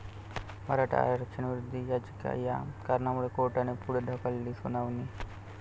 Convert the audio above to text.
मराठा आरक्षणविरोधी याचिका, 'या' कारणामुळे कोर्टाने पुढे ढकलली सुनावणी